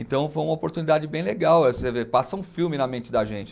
Então foi uma oportunidade bem legal, aí você vê, passa um filme na mente da gente.